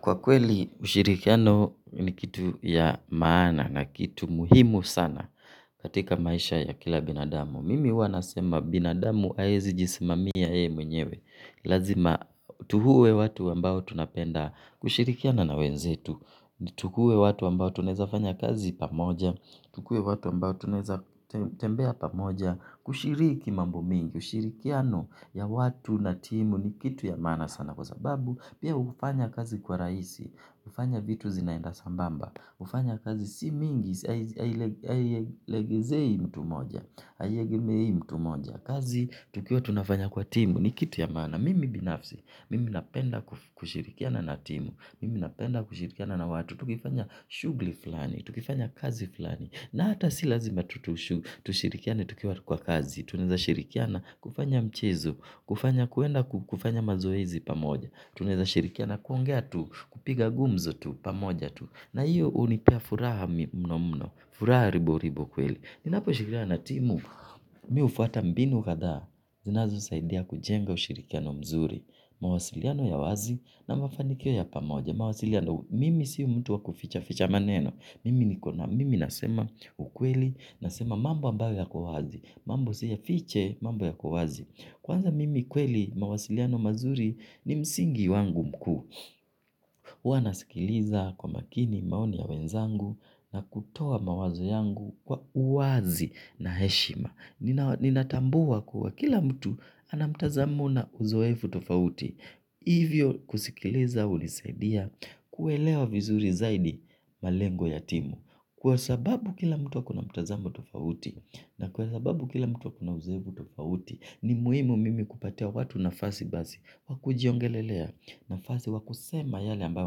Kwa kweli, ushirikiano ni kitu ya maana na kitu muhimu sana katika maisha ya kila binadamu. Mimi huwa nasema binadamu haezi jisimamia yeye mwenyewe. Lazima tuuwe watu ambao tunapenda kushirikiana na wenzetu. Tukue watu ambao tunaeza fanya kazi pamoja. Tukue watu wambao tuneza tembea pamoja. Kushiriki mambo mingi. Ushirikiano ya watu na timu ni kitu ya maana sana kwa sababu. Pia ufanya kazi kuwa rahisi, ufanya vitu zinaenda sambamba, ufanya kazi si mingi, hailegezei mtu moja, hailegemei mtu moja, kazi tukiwa tunafanya kwa timu ni kitu ya maana, mimi binafsi, mimi napenda kushirikiana na timu, mimi napenda kushirikiana na watu, tukifanya shughli fulani, tukifanya kazi fulani, na hata si lazima tutushirikiana tukiwa kwa kazi, tunaeza shirikiana kufanya mchezo, kufanya kuenda kufanya mazoezi pamoja, tunaeza shirikiana na kuongea tu, kupiga gumzo tu, pamoja tu na iyo unipa furaha mno mno, furaha ribo ribo kweli. Ninapo shirikiana na timu, mi ufuata mbinu kadaa zinazosaidia kujenga ushirikiano mzuri. Mawasiliano ya wazi na mafanikio ya pamoja. Mawasiliano, mimi si mtu wa kuficha ficha maneno. Mimi nikona, mimi nasema ukweli, nasema mambo ambayo yako wazi. Mambo siya fiche, mambo yako wazi. Kwanza mimi kweli mawasiliano mazuri ni msingi wangu mkuu, huwa nasikiliza kwa makini maoni ya wenzangu na kutowa mawazo yangu kwa uwazi na heshima. Ninatambua kuwa kila mtu anamtazamo na uzoefu tofauti, hivyo kusikiliza hunisaidia kuelewa vizuri zaidi malengo ya timu. Kwa sababu kila mtu ako na mtazamo tofauti na kwa sababu kila mtu ako na uzoevu tofauti ni muhimu mimi kupatia watu nafasi basi wakujiongelelea nafasi wakusema yale ambayo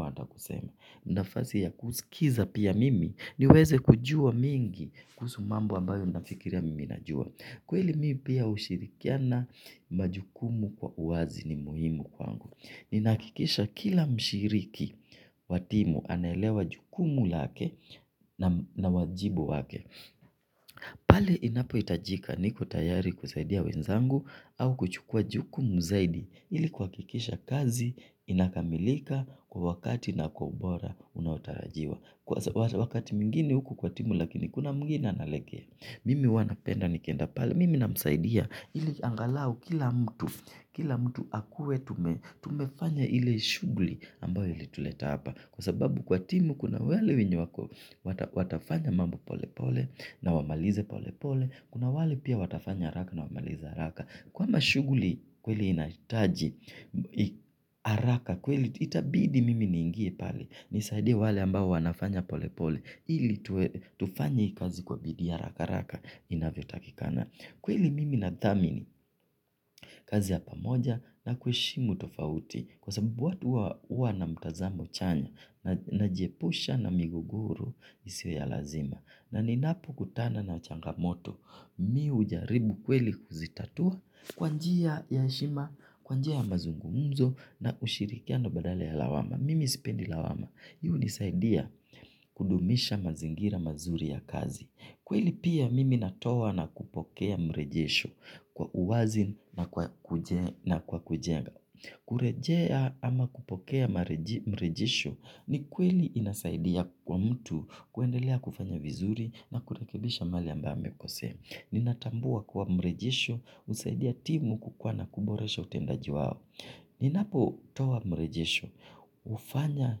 wanataka kusema. Nafasi ya kusikiza pia mimi niweze kujua mingi kuhusu mambo ambayo nafikiria mimi najua. Kweli mimi pia ushirikiana majukumu kwa uwazi ni muhimu kwangu. Ninakikisha kila mshiriki watimu anaelewa majukumu lake na wajibu wake. Pale inapo itajika niko tayari kusaidia wenzangu au kuchukua jukumu zaidi ili kwakikisha kazi inakamilika kwa wakati na kwa ubora unaotarajiwa wakati mwingine huku kwa timu lakini kuna mwingine analegea mimi huwa napenda nikienda pale mimi namsaidia hili angalau kila mtu akuwe tumefanya hile shughuli imetuleta hapa kwa sababu kwa timu kuna wale wenye wako watafanya mambo pole pole na wamalize pole pole. Kuna wale pia watafanya haraka na wamalize haraka. Kwamba shughuli kweli inataji haraka kweli itabidi mimi niingie pale. Nisaidie wale ambao wanafanya pole pole. Ili tufanye kazi kwa bidii haraka haraka inavyo takikana. Kweli mimi na dhamini kazi ya pamoja na kuheshimu tofauti kwa sababu watu huwa huwa na mtazamo chanya, na jiepusha na miguguru isiyo ya lazima. Na ninapokutana na changamoto, mimi ujaribu kweli kuzitatua kwanjia ya heshima, kwanjia ya mazungumzo na ushirikiano badala ya lawama. Mimi sipendi lawama. Hunisaidia kudumisha mazingira mazuri ya kazi. Kweli pia mimi natoa na kupokea mrejesho kwa uwazi na kwa kujenga. Kurejea ama kupokea mrejesho ni kweli inasaidia kwa mtu kuendelea kufanya vizuri na kurekebisha mahali ambayo amekosea. Ninatambua kjwa mrejesho usaidia timu kukuwa na kuboresha utendaji wao. Ninapotoa mrejesho hufanya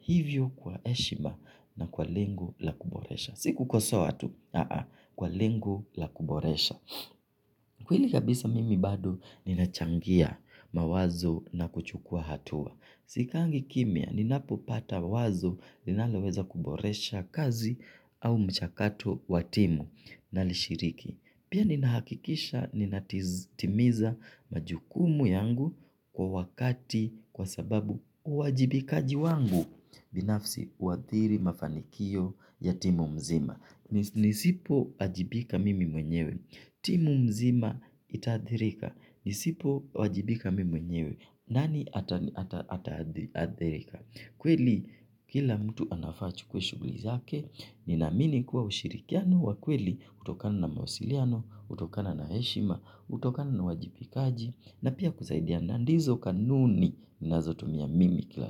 hivyo kwa heshima na kwa lengo la kuboresha si kukosoa tu kwa lengo la kuboresha kweli kabisa mimi bado ninachangia mawazo na kuchukua atua. Sikaangi kimya ninapopata wazo linaloweza kuboresha kazi au mchakato watimu na lishiriki. Pia ninahakikisha ninatimiza majukumu yangu kwa wakati kwa sababu uwajibikaji wangu binafsi uwadhiri mafanikio ya timu mzima. Nisipo ajibika mimi mwenyewe. Timu mzima itaadhirika. Nisipo wajibika mimi mwenyewe nani ataadhirika. Kweli kila mtu anafaa uchukue shughuli zake. Nina amini kuwa ushirikiano wa kweli utokana na mawasiliano, utokana na heshima utokana na wajibikaji na pia kusaidia na ndizo kanuni ninazotumia mimi kila.